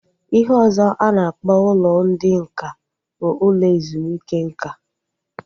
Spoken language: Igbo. Ihe ọzọ a na-akpọ ụlọ ndị nká bụ ụlọ ezumike nká